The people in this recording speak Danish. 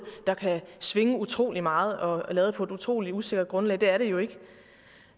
der kan svinge utrolig meget og er lavet på et utrolig usikkert grundlag det er de jo ikke